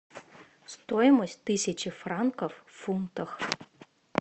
стоимость тысячи франков в фунтах